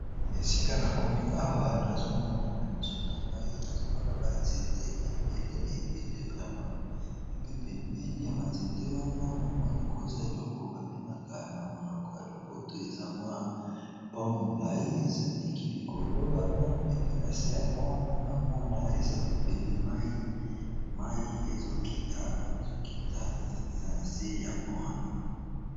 Na esika na komi awa nazomona na miso na ngai nazomona banzete ebele ebele vrema epepembeni ya banzete wana namoni koza eloko babengaka na monoko ya lopoto eza mwa pon mulai eeleki likolo wana epi na se ya pont wana na omona eza ebele mai ezokita eza na se ya pon wana.